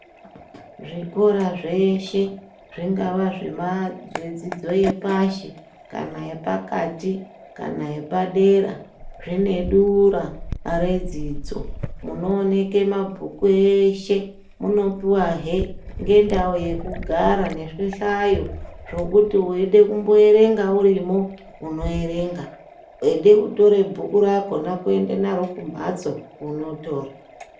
Zvikora zveshe zvingava zvedzidzo yepashi kana yepakati kana yepadera. Zvinodura redzidzo munooneke mabhuku eshe munopuvahe ngendau yekugara nezvihlayo. Zvekuti veida kumboerenga urimo unoerenga, veide kutora bhuku rako kona kuende naro kumhatso unotora.